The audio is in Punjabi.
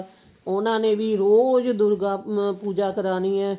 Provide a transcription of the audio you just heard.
ਉਹਨਾ ਨੇ ਵੀ ਰੋਜ ਦੁਰਗਾ ਅਮ ਪੂਜਾ ਕਰਾਣੀ ਏ